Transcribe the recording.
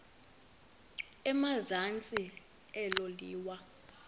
emazantsi elo liwa